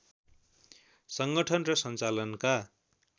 सङ्गठन र सञ्चालनका